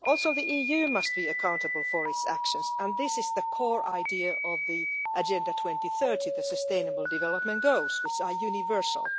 The EU must also be accountable for its actions, and this is the core idea of the Agenda 2030, the sustainable development goals, which are universal.